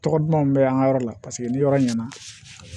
Tɔgɔ duman mun bɛ an ka yɔrɔ la paseke ni yɔrɔ ɲɛna